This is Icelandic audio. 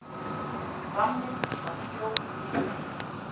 Ramminn var sjóðheitur.